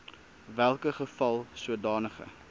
welke geval sodanige